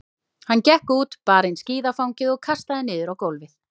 Hann gekk út, bar inn skíðafangið og kastaði niður á gólfið.